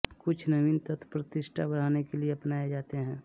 कुछ नवीन तत्व प्रतिष्ठा बढ़ाने के लिए अपनाए जाते हैं